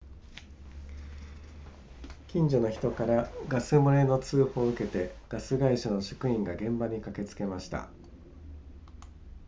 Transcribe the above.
近所の人からガス漏れの通報を受けてガス会社の職員が現場に駆けつけました